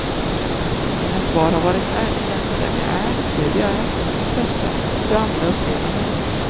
Mina svar har varit ärliga, vem jag är, hur jag är, intressen, hur andra upplever mig.